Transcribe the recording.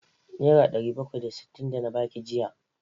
Nera ɗari bakwai da sittin da na baki ajiya!